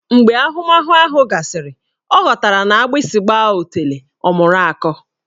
Mgbe ahụmahụ ahụ gasịrị, ọ ghọtara na agbụsị gbaa otulee, ọ mụrụ akọ